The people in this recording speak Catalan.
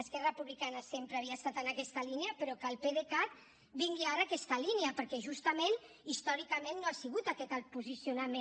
esquerra republicana sempre havia estat en aquesta línia però que el pdecat vingui ara a aquesta línia perquè justament històricament no ha sigut aquest el posicionament